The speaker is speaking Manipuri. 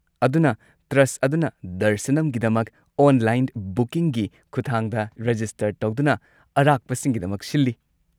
ꯑꯗꯨꯅ ꯇ꯭ꯔꯁꯠ ꯑꯗꯨꯅ ꯗꯔꯁꯅꯝꯒꯤꯗꯃꯛ ꯑꯣꯟꯂꯥꯏꯟ ꯕꯨꯀꯤꯡꯒꯤ ꯈꯨꯊꯥꯡꯗ ꯔꯦꯖꯤꯁꯇꯔ ꯇꯧꯗꯨꯅ ꯑꯔꯥꯛꯄꯁꯤꯡꯒꯤꯗꯃꯛ ꯁꯤꯜꯂꯤ꯫